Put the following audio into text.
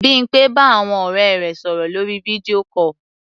Bímpé bá àwọn ọ̀rẹ́ rẹ̀ sọ̀rọ̀ lórí video call.